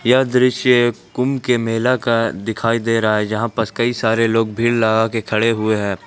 यह दृश्य एक कुंभ के मेला का दिखाई दे रहा है जहाँ पर कई सारे लोग भीड़ लगा के खड़े हुए हैं।